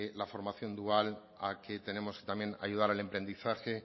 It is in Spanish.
la formación dual a que tenemos también que ayudar al emprendizaje